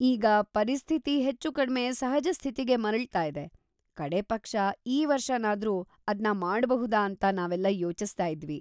ಈಗ ಪರಿಸ್ಥಿತಿ ಹೆಚ್ಚೂಕಡ್ಮೆ ಸಹಜ ಸ್ಥಿತಿಗೆ ಮರಳ್ತಾ ಇದೆ, ಕಡೇ ಪಕ್ಷ ಈ ವರ್ಷನಾದ್ರೂ ಅದ್ನ ಮಾಡ್ಬಹುದಾ ಅಂತ ನಾವೆಲ್ಲ ಯೋಚಿಸ್ತಾ ಇದ್ವಿ.